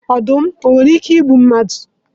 Ọdum nwere ike igbu mmadụ?